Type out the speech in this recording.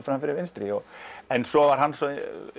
fram fyrir vinstri en svo var hann svo